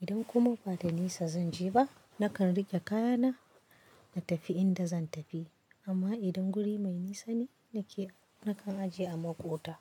Idan kuma ba da nisa zan je ba, nakan riƙe kaya na na tafi inda zan tafi. Amma idan guri mai nisa ne nake, nakan ajiye a maƙota.